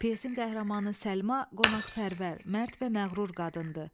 Pyesin qəhrəmanı Səlma qonaqpərvər, mərd və məğrur qadındır.